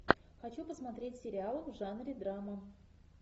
хочу посмотреть сериал в жанре драма